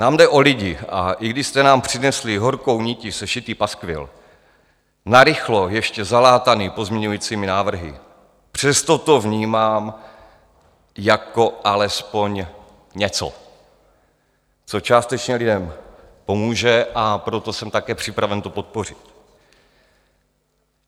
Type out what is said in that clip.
Nám jde o lidi, a i když jste nám přinesli horkou nití sešitý paskvil, narychlo ještě zalátaný pozměňovacími návrhy, přesto to vnímám jako alespoň něco, co částečně lidem pomůže, a proto jsem také připraven to podpořit.